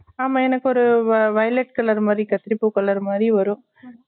ஆமா எனக்கு ஒரு violet colour மாறி கத்திறுப்பு colour மாறி வரும்